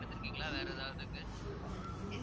எடுத்திருக்கீங்களா வேற ஏதாவது இதுக்கு